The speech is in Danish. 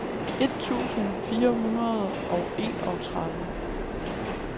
et tusind fire hundrede og enogtredive